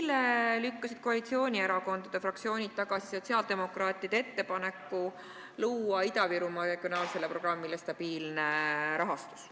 Eile lükkasid koalitsioonierakondade fraktsioonid tagasi sotsiaaldemokraatide ettepaneku tagada Ida-Virumaa regionaalsele programmile stabiilne rahastus.